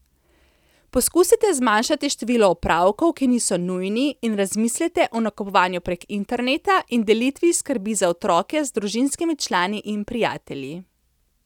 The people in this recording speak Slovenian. Poskusite zmanjšati število opravkov, ki niso nujni, in razmislite o nakupovanju prek interneta in delitvi skrbi za otroke z družinskimi člani in prijatelji.